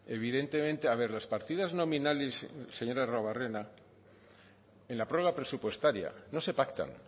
evidentemente a ver las partidas nominales señor arruabarrena en la prórroga presupuestaria no se pactan